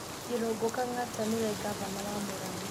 Irungu Kang'ata niwe Ngavana wa Murang'a